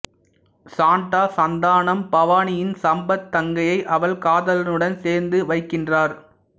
சான்ட்டா சந்தானம் பவானியின் சம்பத் தங்கையை அவள் காதலனுடன் சேர்த்து வைக்கின்றார்